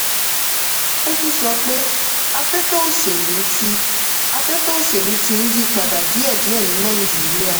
ó tún sọ pé afẹ́fẹ́ òṣèlú ti afẹ́fẹ́ òṣèlú ti ń yípadà díẹ̀díẹ̀ ni nàìjíríà.